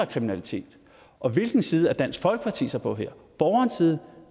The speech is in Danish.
kriminalitet og hvilken side er dansk folkeparti så på her borgernes side